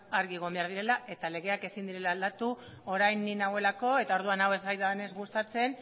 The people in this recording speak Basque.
argi egon behar direla eta legeak ezin direla aldatu orain ni nagoelako eta orduan hau ez zaidanez gustatzen